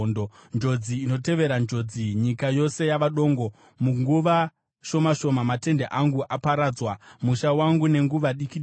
Njodzi inotevera njodzi; nyika yose yava dongo. Munguva shoma shoma, matende angu aparadzwa, musha wangu nenguva diki diki.